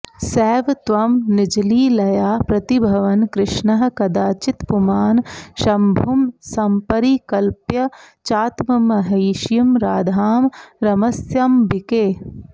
सैव त्वं निजलीलया प्रतिभवन् कृष्णः कदाचित्पुमान् शम्भुं सम्परिकल्प्य चात्ममहिषीं राधां रमस्यम्बिके